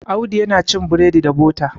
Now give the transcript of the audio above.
Audu yana cin bredi da bota